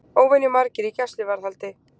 Óvenju margir í gæsluvarðhaldi